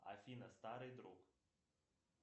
афина старый друг